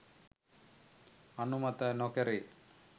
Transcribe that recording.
අනුමත නොකෙරේ.